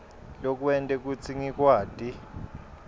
lokwente kutsi ngikwati